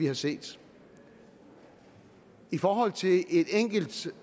har set i forhold til et enkelt